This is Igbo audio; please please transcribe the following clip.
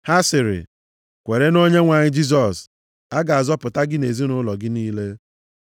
Ha sịrị, “Kwere nʼOnyenwe anyị Jisọs, a ga-azọpụta gị na ezinaụlọ gị niile.”